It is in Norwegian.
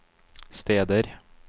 steder